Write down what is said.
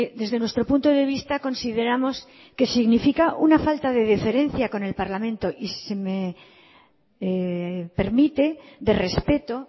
desde nuestro punto de vista consideramos que significa una falta de deferencia con el parlamento y si se me permite de respeto